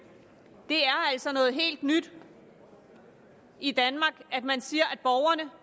det er altså noget helt nyt i danmark at man siger